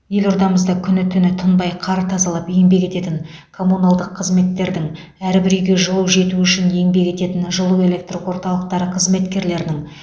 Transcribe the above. елордамыз күні түні тынбай қар тазалап еңбек ететін коммуналдық қызметтердің әрбір үйге жылу жетуі үшін еңбек ететін жылуэлектрорталықтары қызметкерлерінің